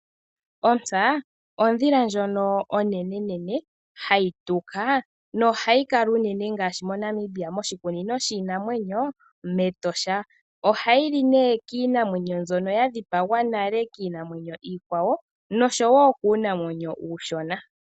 Ontsa oyo ondhila onene , hayi tuka, nohayi kala unene ngaashi moNamibia moshikunino shiinamwenyo mEtosha National Park. Ohayi li kiinamwenyo mbyono ya dhipagwa nale kiinamwenyo iikwawo noshowoo kuunamwenyo uushona.